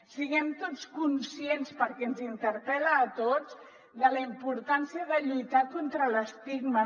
siguem tots conscients perquè ens interpel·la a tots de la importància de lluitar contra l’estigma